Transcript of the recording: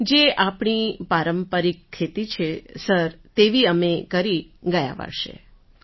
હાસર જે આપણી પારંપરિક ખેતી છે તેવી અમે કરી ગયા વર્ષે